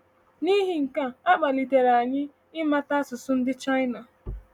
N’ihi nke a, a kpalitere anyị ịmụta asụsụ ndị China.